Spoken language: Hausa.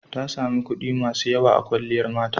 Ta sami kuɗi masu yawa a kwalliyar mata.